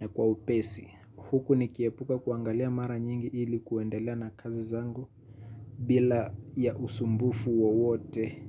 na kwa upesi. Huku nikiepuka kuangalia mara nyingi ili kuendelea na kazi zangu bila ya usumbufu wowote.